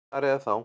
Ekki þar eða þá.